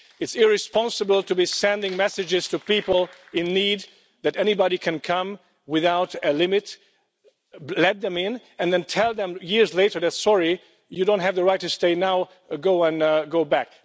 It's irresponsible to be sending messages to people in need, saying that anybody can come in without limits, let them in, and then tell them years later, Sorry, you don't have the right to stay now, go back.'